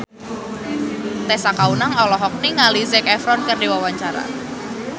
Tessa Kaunang olohok ningali Zac Efron keur diwawancara